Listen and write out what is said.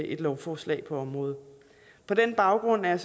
et lovforslag på området på den baggrund er